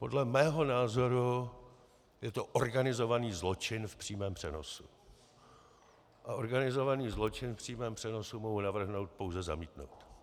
Podle mého názoru je to organizovaný zločin v přímém přenosu a organizovaný zločin v přímém přenosu mohu navrhnout pouze zamítnout.